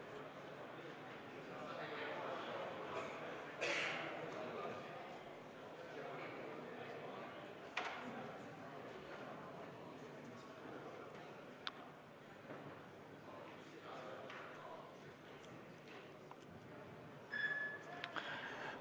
Kohaloleku kontroll